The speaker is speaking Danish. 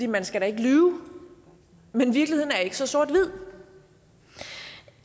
man skal da ikke lyve men virkeligheden er ikke så sort hvid